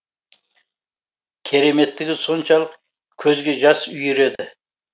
кереметтігі соншалық көзге жас үйіреді